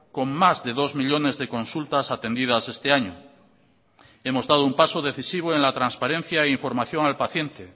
con más de dos millónes de consultas atendidas este año hemos dado un paso decisivo en la transparencia e información al paciente